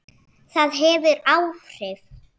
Það hefur áhrif.